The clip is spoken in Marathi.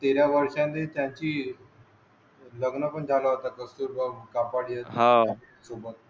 तेरा वर्षाने त्याची लग्न पण झाल होता कस्तुरभा